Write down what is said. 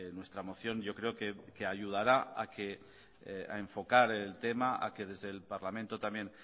nuestra moción yo creo que ayudará a enfocar el tema a que desde el parlamento también